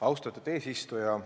Austatud eesistuja!